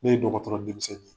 Ne ye dɔgɔtɔrɔ denmisɛnnin ye